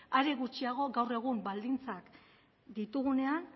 are gutxiago gaur egun baldintzak ditugunean